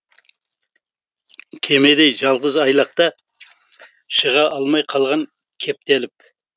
кемедей жалғыз айлақта шыға алмай қалған кептеліп